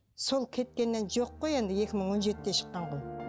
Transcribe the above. сол кеткеннен жоқ қой енді екі мың он жетіде шыққан ғой